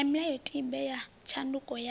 na milayotibe ya tshandukiso ya